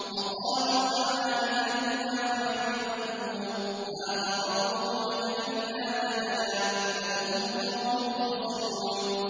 وَقَالُوا أَآلِهَتُنَا خَيْرٌ أَمْ هُوَ ۚ مَا ضَرَبُوهُ لَكَ إِلَّا جَدَلًا ۚ بَلْ هُمْ قَوْمٌ خَصِمُونَ